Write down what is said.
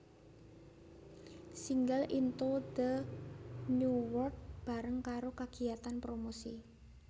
Singel Into the New World bareng karo kagiyatan promosi